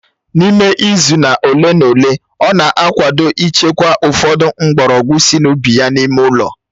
N'ime izu ole na ole, ọ na-akwado ịchekwa ụfọdụ mgbọrọgwụ sị n'ubi ya n'ime ụlọ